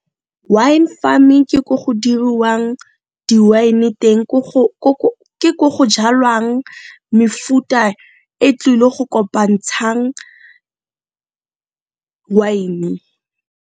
Wine farming ke ko go diriwang di-wine teng ke ko go jalwang mefuta e tlile go kopantshang wine.